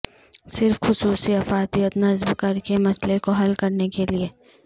صرف خصوصی افادیت نصب کر کے مسئلے کو حل کرنے کے لئے